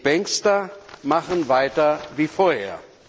Die Bankster machen weiter wie vorher.